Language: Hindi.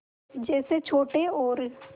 जैसे छोटे और